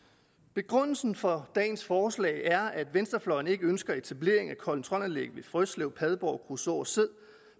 begrundelsen for dagens forslag er at venstrefløjen ikke ønsker etablering af kontrolanlæg ved frøslev padborg kruså og sæd